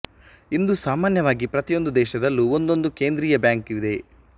ಇಂದು ಸಾಮಾನ್ಯವಾಗಿ ಪ್ರತಿಯೊಂದು ದೇಶದಲ್ಲೂ ಒಂದೊಂದು ಕೇಂದ್ರೀಯ ಬ್ಯಾಂಕು ಇದೆ